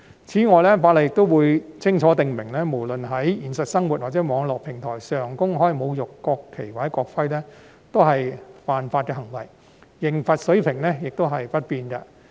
此外，《條例草案》亦會清楚訂明，無論是在現實生活或網絡平台上公開侮辱國旗或國徽，均屬違法行為，刑罰水平亦不變。